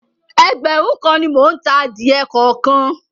Ẹgbẹ̀rún kan ni mò ń ta adìẹ kọ̀ọ̀kan.